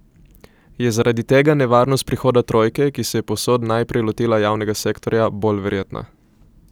Je zaradi tega nevarnost prihoda trojke, ki se je povsod najprej lotila javnega sektorja, bolj verjetna?